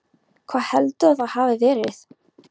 Hvar heldurðu að það hafi verið?